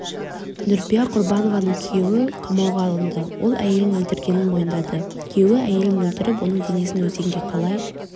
нүрипа құрбанованың күйеуі қамауға алынды ол әйелін өлтіргенін мойындады күйеуі әйелін өлтіріп оның денесін өзенге қалай